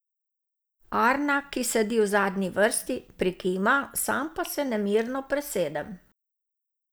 Arna, ki sedi v zadnji vrsti, prikima, sam pa se nemirno presedem.